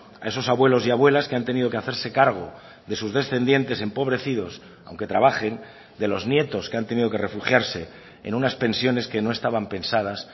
a esos abuelos y abuelas que han tenido que hacerse cargo de sus descendientes empobrecidos aunque trabajen de los nietos que han tenido que refugiarse en unas pensiones que no estaban pensadas